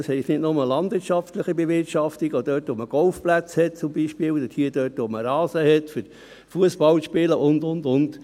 Das heisst nicht nur landwirtschaftliche Bewirtschaftung: auch dort, wo man Golfplätze hat, zum Beispiel, oder dort, wo man Rasen hat, um Fussball zu spielen, und, und, und.